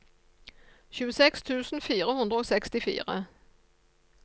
tjueseks tusen fire hundre og sekstifire